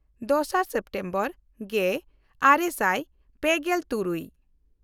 ᱫᱚᱥᱟᱨ ᱥᱮᱯᱴᱮᱢᱵᱚᱨ ᱜᱮᱼᱟᱨᱮ ᱥᱟᱭ ᱯᱮᱜᱮᱞ ᱛᱩᱨᱩᱭ